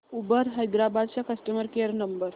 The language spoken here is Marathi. उबर हैदराबाद चा कस्टमर केअर नंबर